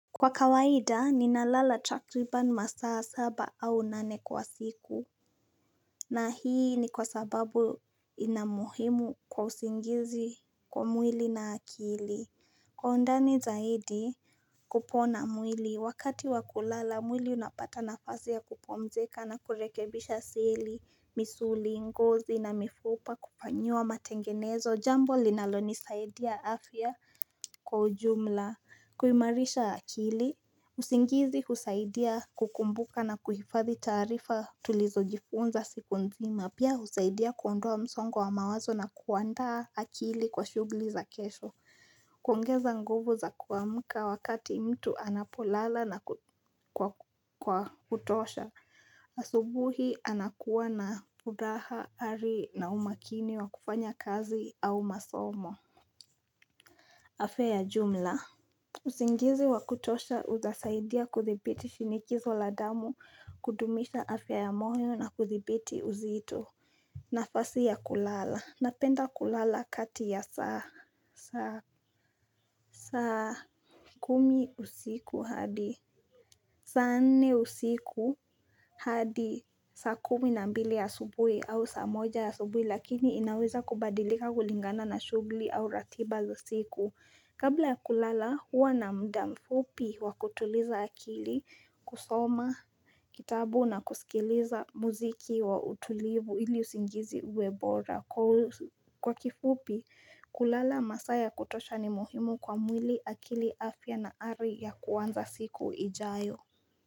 Kwa kawaida ninalala takriban masaa saba au nane kwa siku na hii ni kwa sababu ina muhimu kwa usingizi kwa mwili na akili. Kwa undani zaidi kupona mwili, wakati wakulala mwili unapata nafasi ya kupumzika na kurekebisha seli, misuli, ngozi na mifupa kupanyua matengenezo jambo linalonisaidia afya kwa ujumla kuimarisha akili, usingizi husaidia kukumbuka na kuhifadhi taarifa tulizojifunza siku nzima. Pia husaidia kuondoa msongo wa mawazo na kuandaa akili kwa shughuli za kesho kuongeza nguvu za kuamka wakati mtu anapolala na kwa kutosha asubuhi anakuwa na furaha, ari na umakini wa kufanya kazi au masomo afya ya jumla. Usingizi wa kutosha utasaidia kuthibiti shinikizo la damu, kudumisha afya ya moyo na kuthibiti uzito. Nafasi ya kulala. Napenda kulala kati ya saa kumi usiku hadi. Saa nne usiku hadi saa kumi na mbili ya asubuhi au saa moja ya asubuhi lakini inaweza kubadilika kulingana na shughuli au ratiba za siku. Kabla ya kulala huwa na mda mfupi wa kutuliza akili, kusoma kitabu na kusikiliza muziki wa utulivu ili usingizi uwe bora. Kwa kifupi, kulala masaa ya kutosha ni muhimu kwa mwili akili afya na ari ya kuanza siku ijayo.